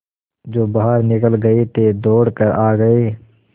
जो बाहर निकल गये थे दौड़ कर आ गये